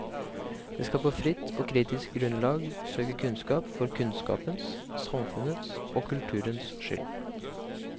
Det skal på fritt og kritisk grunnlag søke kunnskap for kunnskapens, samfunnets og kulturens skyld.